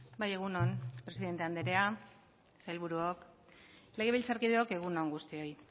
bai egun on presidente andrea sailburuok legebiltzarkideok egun on guztioi